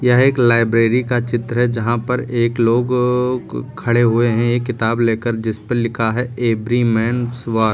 यह एक लाइब्रेरी का चित्र है जहां पर एक लोग खड़े हुए हैं एक किताब लेकर जिस पे लिखा है एवरी मैनस वार ।